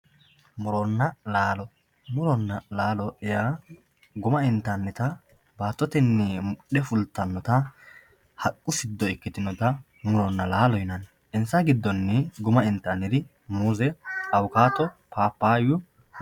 muronna laalo muronna laalo yaa guma intannita baattotennimudhe fultannota haqqu siddo ikkitinota muronna laalo yinanni insa giddonni muuze awukaato paappayu